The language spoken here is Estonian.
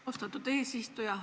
Austatud eesistuja!